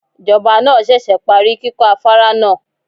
Ìjọba náà ṣẹ̀ṣẹ̀ parí kíkọ́ afárá náà.